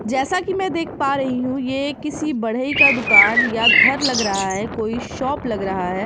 जैसा कि मैं देख पा रही हूँ ये किसी बड़ई का दुकान या घर लग रहा है कोई शॉप लग रहा है।